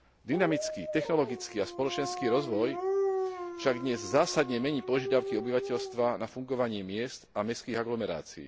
Dynamický technologický a spoločenský rozvoj však dnes zásadne mení požiadavky obyvateľstva na fungovanie miest a mestských aglomerácií.